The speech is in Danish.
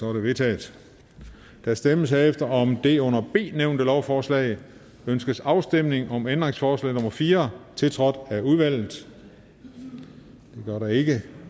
er vedtaget der stemmes herefter om det under b nævnte lovforslag ønskes afstemning om ændringsforslag nummer fire tiltrådt af udvalget det gør der ikke